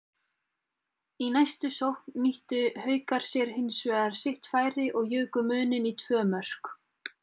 Í næstu sókn nýttu Haukar sér hinsvegar sitt færi og juku muninn í tvö mörk.